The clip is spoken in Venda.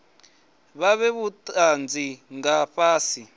vha fhe vhutanzi nga fhasi